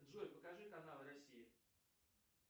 джой покажи канал россия